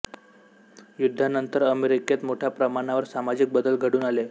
युद्धानंतर अमेरिकेत मोठ्या प्रमाणावर सामाजिक बदल घडून आले